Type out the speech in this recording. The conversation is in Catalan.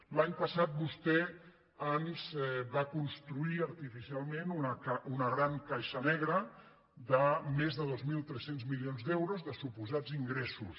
l’any passat vostè ens va construir artificialment una gran caixa negra de més de dos mil tres cents milions d’euros de supo·sats ingressos